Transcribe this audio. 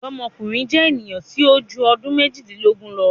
Ọdọmọkunrin jẹ eniyan ti o ju ọdun mejidilogun lọ